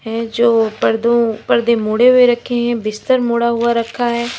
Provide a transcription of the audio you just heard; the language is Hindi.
हैं जो पर्दों पर्दे मोड़े हुए रखे हैं बिस्तर मोड़ा हुआ रखा है।